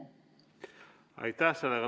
Aitäh!